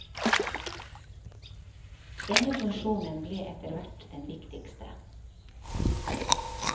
Denne funksjonen ble etterhvert den viktigste.